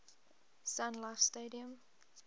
sun life stadium